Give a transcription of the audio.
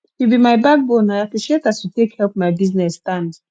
you be my backbone i appreciate as you take help my business stand